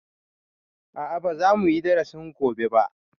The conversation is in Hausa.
A'a ba za muyi darasin gobe ba